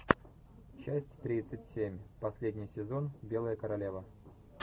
часть тридцать семь последний сезон белая королева